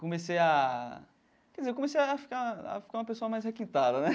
Comecei a... Quer dizer, eu comecei a ficar a ficar uma pessoa mais requintada, né?